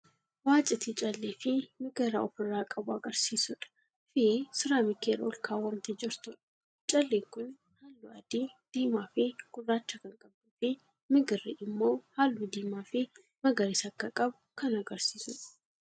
Waciitii callee fii migira ofirraa qabu agarsiisudha fii siiraamikii irra olkaawwamtee jirtuudha. Calleen kuni haalluu adii, diimaa fii gurraacha kan qabduu fii migirri immoo haalluu diimaa fii magariisa akka qabu kan agarsiisudha.